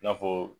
I n'a fɔ